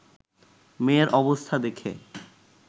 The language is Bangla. মেয়ের অবস্থা দেখে